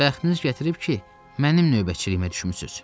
Bəxtiniz gətirib ki, mənim növbəçiliyimi düşmüsüz.